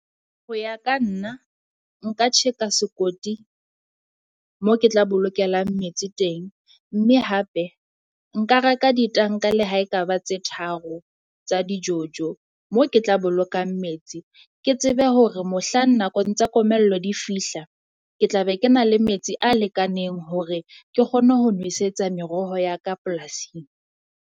Hoya ka nna, nka tjheka a sekoti mo ke tla bolokelang metsi teng, mme hape nka re ka ditanka le ha ekaba tse tharo tsa di-jojo. Mo ke tla bolokang metsi ke tsebe hore mohlang nakong tsa komello di fihla ke tla be ke na le metsi a lekaneng hore ke kgone ho nwesetsa meroho ya ka polasing.